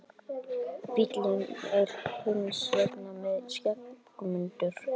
Bíllinn er hins vegar mikið skemmdur